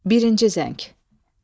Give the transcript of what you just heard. Birinci zəng.